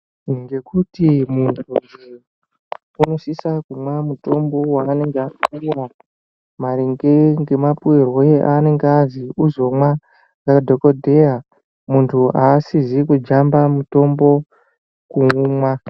Ngekuti muntu unosisa kumwa mutombo waanenge apuwa maringe ngemapuirwe aanenge azwi uzomwe nadhokodheya muntu aasizi kujamba mutombo kuumwa.